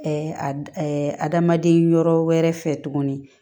adamaden yɔrɔ wɛrɛ fɛ tuguni